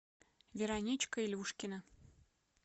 вероничка илюшкина